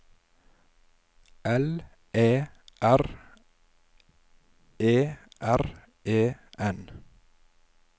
L Æ R E R E N